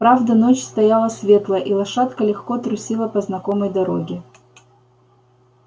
правда ночь стояла светлая и лошадка легко трусила по знакомой дороге